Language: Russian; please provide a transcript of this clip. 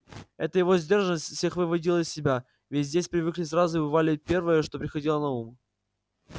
эта его сдержанность всех выводила из себя ведь здесь все привыкли сразу выпаливать первое что приходило на ум